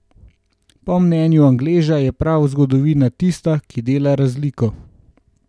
Po mnenju Angleža je prav zgodovina tista, ki dela razliko.